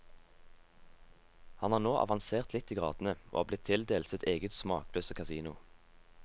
Han har nå avansert litt i gradene, og er blitt tildelt sitt eget smakløse kasino.